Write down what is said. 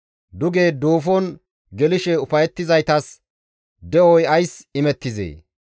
Duge duufon gelishe ufayettizaytas de7oy ays imettizee?